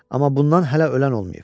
Amma bundan hələ ölən olmayıb.